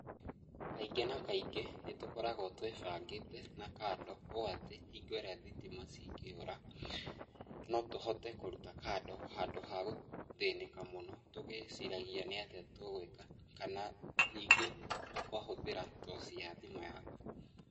Kaingĩ na kaingĩ nĩ tũkoragwo twĩbangĩte na kando, ũũ atĩ hingo ĩrĩa thitima cingĩũra, no tũhote kũruta kando handũ ha kũthĩnĩka mũno tũgĩciragia nĩatĩa tũgũĩka, kana nyingĩ ũkahũthĩra toci ya thimũ yaku.